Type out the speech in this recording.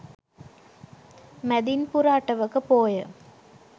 මැදින් පුර අටවක පෝය